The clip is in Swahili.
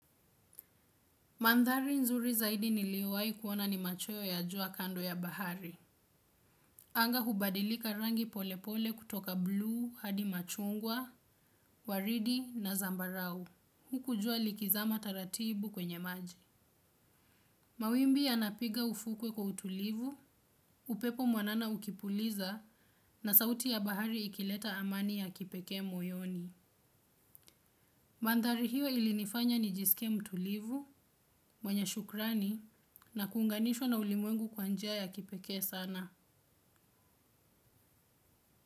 Mandhari nzuri zaidi niliyowahi kuona ni machoyo ya jua kando ya bahari. Anga hubadilika rangi pole pole kutoka blue, hadi machungwa, waridi na zambarau. Huku jua likizama taratibu kwenye maji. Mawimbi yanapiga ufukwe kwa utulivu, upepo mwanana ukipuliza na sauti ya bahari ikileta amani ya kipekee moyoni. Mandhari hiyo ilinifanya nijisike mtulivu mwenye shukrani na kuunganishwa na ulimwengu kwa njia kipekee sana.